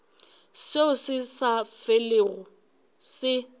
seo se sa felego se